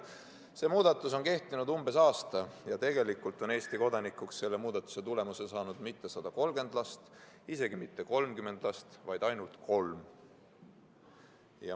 See muudatus on kehtinud umbes aasta ja tegelikult ei ole Eesti kodanikuks selle muudatuse tulemusel saanud mitte 130 last, isegi mitte 30 last, vaid ainult kolm.